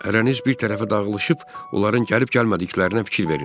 Hərəniz bir tərəfə dağılışıb, onların gəlib-gəlmədiklərinə fikir verin.